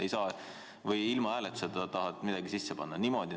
Või sa tahad ilma hääletuseta midagi sisse panna?